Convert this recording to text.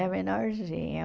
É menorzinha.